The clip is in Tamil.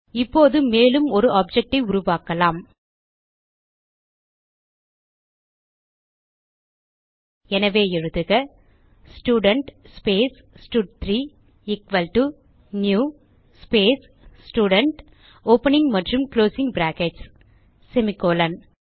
இப்போது மேலும் ஒரு ஆப்ஜெக்ட் ஐ உருவாக்கலாம் எனவே எழுதுக student space stud three equal to new space student opening மற்றும் குளோசிங் பிராக்கெட்ஸ் செமிகோலன்